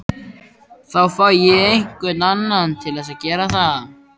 Þá fæ ég einhvern annan til að gera það